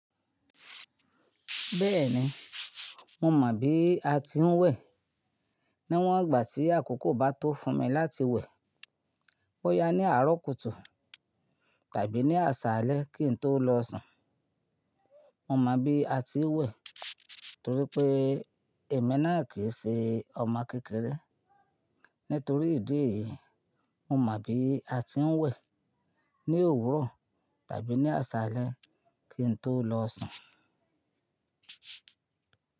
Bẹ́ẹ̀ni, mo mọ̀ bí a ti ń wẹ̀. Níwọn ìgbà tí àkókò bá tó fún mi láti wẹ̀, ó yá ní àárọ̀ kùtù tàbí ní àsálẹ́ kí n tó lọ sùn. Mo mọ̀ bí a ti ń wẹ̀ torí pé èmi náà kì í ṣe ọmọ kékeré. Nítorí ìdí èyí, mo mọ̀ bí a ti ń wẹ̀ ní òwúrọ̀ tàbí ní àsálẹ́ kí n tó lọ sùn.